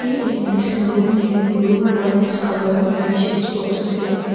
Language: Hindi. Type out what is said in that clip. यह एक मेडिसिन रूम है blue whites colour medicines boxes है एक।